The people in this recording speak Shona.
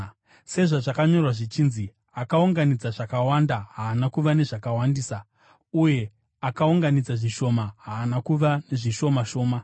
sezvazvakanyorwa zvichinzi: “Akaunganidza zvakawanda haana kuva nezvakawandisa, uye akaunganidza zvishoma haana kuva nezvishoma shoma.”